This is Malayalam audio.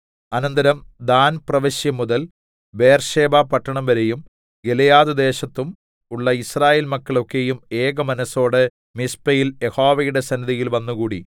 അനന്തരം ദാൻ പ്രവശ്യ മുതൽ ബേർശേബ പട്ടണം വരെയും ഗിലെയാദ്‌ദേശത്തും ഉള്ള യിസ്രായേൽ മക്കൾ ഒക്കെയും ഏകമനസ്സോടെ മിസ്പയിൽ യഹോവയുടെ സന്നിധിയിൽ വന്നുകൂടി